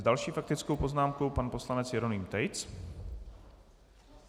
S další faktickou poznámkou pan poslanec Jeroným Tejc.